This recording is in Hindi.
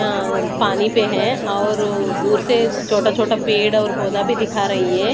आं पानी पे है और दूर से छोटा छोटा पेड़ और पौधा भी दिखा रही है।